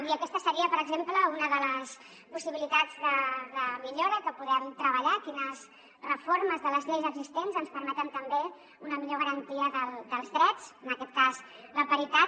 i aquesta seria per exemple una de les possibilitats de millora que podem treballar quines reformes de les lleis existents ens permeten també una millor garantia dels drets en aquest cas la paritat